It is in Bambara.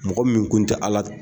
Mɔgɔ min kun tɛ